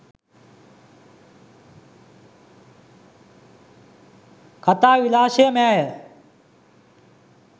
කතා විලාශයමෑය